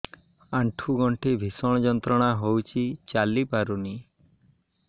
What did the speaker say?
ଆଣ୍ଠୁ ଗଣ୍ଠି ଭିଷଣ ଯନ୍ତ୍ରଣା ହଉଛି ଚାଲି ପାରୁନି